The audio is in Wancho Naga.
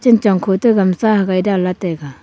chanchong khoto gamsa hagai dangley taiga.